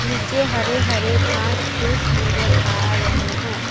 नीचे हरे हरे घास फूस नजर आ रहे हैं।